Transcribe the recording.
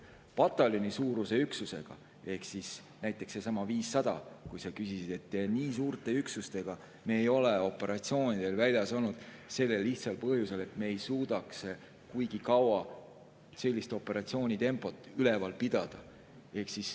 Pataljonisuuruse üksusega ehk näiteks sellesama 500‑ga, mille kohta sa küsisid, nii suurte üksustega me ei ole operatsioonidel väljas olnud, sellel lihtsal põhjusel, et me ei suudaks kuigi kaua operatsiooni tempot.